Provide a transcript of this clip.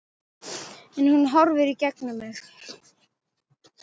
En hún horfir í gegnum mig